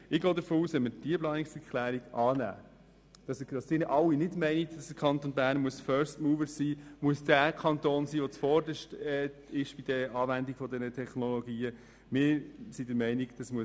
Ich gehe davon aus, dass Sie, wenn Sie diese Planungserklärung annehmen, nicht fordern, dass der Kanton Bern bei der Anwendung dieser Technologien an erster Stelle stehen muss.